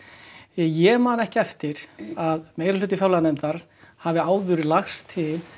ég man ekki eftir að meirihluti fjárlaganefndar hafi áður lagt til